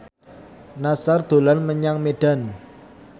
Nassar dolan menyang Medan